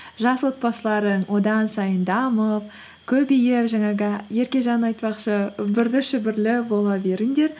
жас отбасыларың одан сайын дамып көбейіп жаңағы еркежан айтпақшы үбірлі шүбірлі бола беріңдер